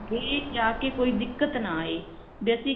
ਬਾਹਰ ਜਾ ਕਿ ਕੋਈ ਦਿੱਕਤ ਨਾ ਆਵੇ basic